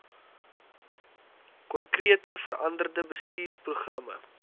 konkrete veranderde bestuursprogramme